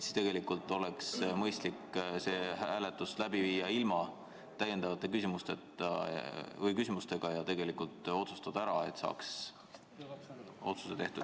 Tegelikult oleks mõistlik see hääletus läbi viia ilma täiendavate küsimusteta ja asi ära otsustada.